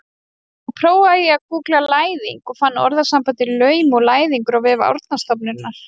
Þá prófaði ég að gúggla læðing og fann orðasambandið laum og læðingur á vef Árnastofnunar.